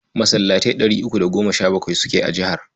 Masallatai ɗari uku da goma sha bakwai suke a jihar.